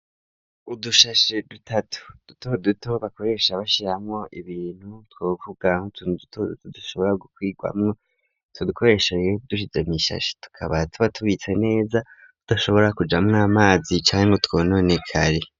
Udushashe dutatu duto duto bakoresha bashiramwo ibintu twovugam tunuto tadashobora gukwigwamwo tadukoresha iye dushize mw'ishashe tukaba tuba tubitse neza tudashobora kujamwo amazi canga twononekara.